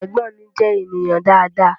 Ẹ̀gbọ́n mi je ènìyàn dáadáa